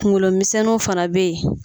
Kungolo misɛnniw fana bɛ ye.